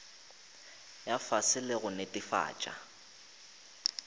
ya fase le go netefatša